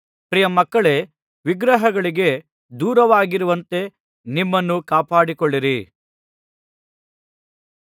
ಪ್ರಿಯಮಕ್ಕಳೇ ವಿಗ್ರಹಗಳಿಗೆ ದೂರವಾಗಿರುವಂತೆ ನಿಮ್ಮನ್ನು ಕಾಪಾಡಿಕೊಳ್ಳಿರಿ